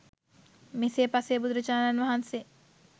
මෙසේ පසේ බුදුරජාණන් වහන්සේ